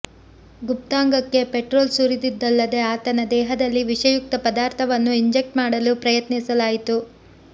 ಗುಪ್ತಾಂಗಕ್ಕೆ petrol ಸುರಿದಿದ್ದಲ್ಲದೇ ಆತನ ದೇಹದಲ್ಲಿ ವಿಷಯುಕ್ತ ಪದಾರ್ಥವನ್ನು ಇಂಜೆಕ್ಟ್ ಮಾಡಲು ಪ್ರಯತ್ನಿಸಲಾಯಿತು